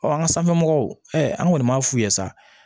an ka sanfɛmɔgɔw ɛɛ an kɔni m'a f'u ye sa